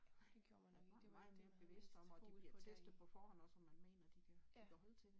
Man er bare meget mere bevidst og de bliver testet på forhånd om man mener, de kan holde til det